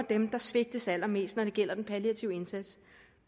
dem der svigtes allermest når det gælder den palliative indsats